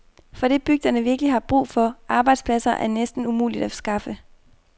For det bygderne virkelig har brug for, arbejdspladser, er det næsten umuligt at skaffe.